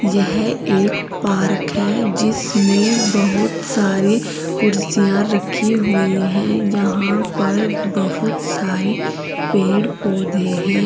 यह एक पार्क है जिसमें बहुत सारी कुर्सियां रखी हुई है यहां पर बहुत सारे पेड़ पौधे हैं।